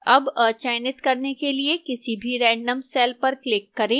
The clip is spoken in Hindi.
अब अचयनित करने के लिए किसी भी random cell पर click करें